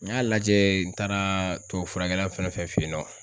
N y'a lajɛ n taara tubabufurakɛla fɛn o fɛn fe yen nɔ.